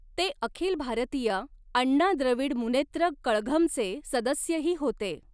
ते अखिल भारतीय अण्णा द्रविड मुनेत्र कळघमचे सदस्यही होते.